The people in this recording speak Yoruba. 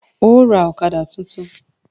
Óò ra ọ̀kadà tuntun!